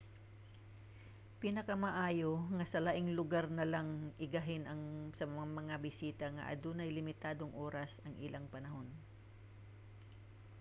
pinakamaayo nga sa laing lugar na lang igahin sa mga bisita nga adunay limitadong oras ang ilang panahon